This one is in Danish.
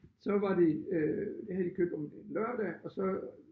Så var det øh det havde de købt om lørdag og så